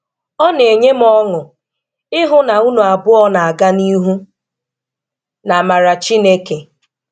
Ọ na-enye m ọṅụ, ịhu na unu abụọ na-aga n'ihu n'amara Chineke.